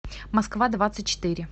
москва двадцать четыре